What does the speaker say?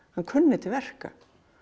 hann kunni til verka